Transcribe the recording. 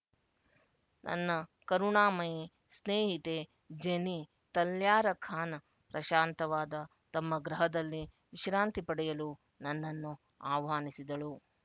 ನನ್ನ ಕರುಣಾಮಯಿ ಸ್ನೇಹಿತೆ ಜೆನಿ ತಲ್ಯಾರಖಾನ ಪ್ರಶಾಂತವಾದ ತಮ್ಮ ಗೃಹದಲ್ಲಿ ವಿಶ್ರಾಂತಿ ಪಡೆಯಲು ನನ್ನನ್ನು ಆಹ್ವಾನಿಸಿದಳು